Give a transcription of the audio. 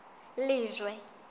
lejwe